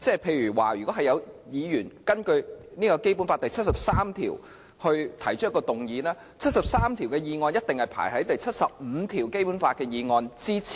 例如，若有議員根據《基本法》第七十三條提出議案，根據第七十三條提出的議案一定排列在根據第七十五條提出的議案之前。